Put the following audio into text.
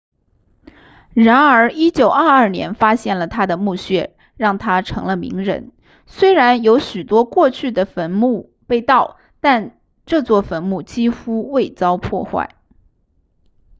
然而1922年发现了他的墓穴让他成了名人虽然有许多过去的坟墓被盗但这座坟墓几乎未遭破坏